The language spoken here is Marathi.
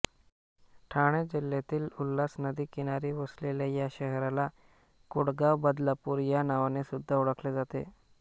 ठाणे जिल्ह्यातील उल्हास नदी किनारी वसलेल्या या शहराला कुळगावबदलापूर या नावाने सुद्धा ओळखले जाते